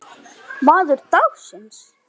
Maður dagsins?